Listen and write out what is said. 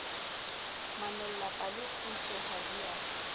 manolla palekgutshwe ha di a